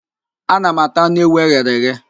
Ana m ata anụ ewu eghere eghe.